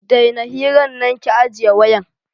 Daina hiran nan ki ajiye wayan.